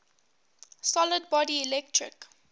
solid body electric